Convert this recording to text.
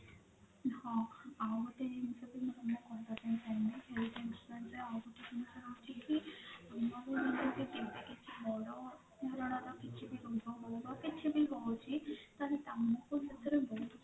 ହଁ ଆଉ ଗୋଟେ ଜିନିଷ health insurance ରେ ଆଉ ଗୋଟେ ଜିନିଷ ରହୁଛି କି କେମିତି କିଛି ବଡ କିଛି ବି ରହୁଛି ତ ତମକୁ ସେଥିରେ